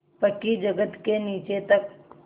पक्की जगत के नीचे तक